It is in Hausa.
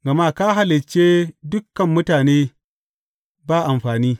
Gama ka halicce dukan mutane ba amfani!